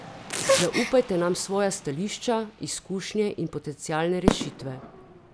Zaupajte nam svoja stališča, izkušnje in potencialne rešitve.